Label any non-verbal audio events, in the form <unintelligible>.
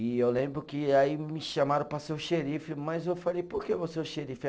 E eu lembro que aí me chamaram para ser o xerife, mas eu falei, por que eu vou ser o xerife? <unintelligible>